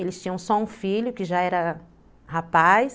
Eles tinham só um filho que já era rapaz.